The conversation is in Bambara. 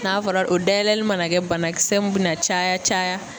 N'a fɔra o dayɛlɛli mana kɛ banakisɛ mun bɛna caya caya